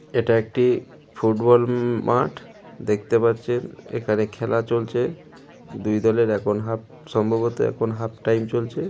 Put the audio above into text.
এটা একটি ফুটবল মাঠ দেখতে পারছেন এখানে খেলা চলছে দুই দলের এখন হাফ সম্ভবতঃ এখন হাফ টাইম চলছে।